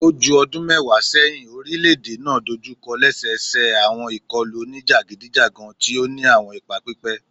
O ju ọdun mẹwa sẹhin, orilẹ-ede naa dojukọ lẹsẹsẹ awọn ikọlu onijagidijagan ti o ni awọn ipa pipẹ